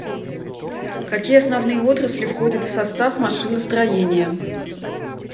какие основные отрасли входят в состав машиностроения